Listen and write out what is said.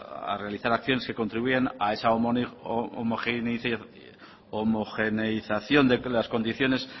a realizar a quien se contribuyan a esa homogeneización de las condiciones